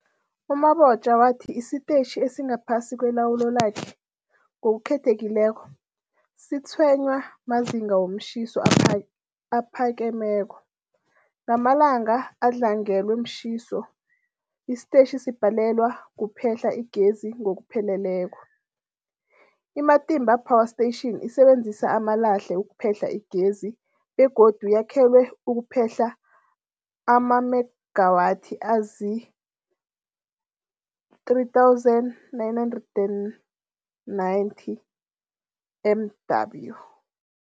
U-Mabotja wathi isitetjhi esingaphasi kwelawulo lakhe, ngokukhethekileko, sitshwenywa mazinga womtjhiso aphakemeko. Ngamalanga adlangelwe mtjhiso, isitetjhi sibhalelwa kuphehla igezi ngokupheleleko. I-Matimba Power Station isebenzisa amalahle ukuphehla igezi begodu yakhelwe ukuphehla amamegawathi azii-3990 MW.